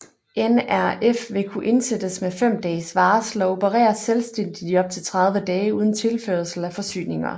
NRF vil kunne indsættes med fem dages varsel og operere selvstændigt i op til 30 dage uden tilførsel af forsyninger